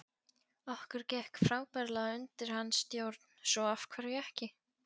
Okkur gekk frábærlega undir hans stjórn svo af hverju ekki?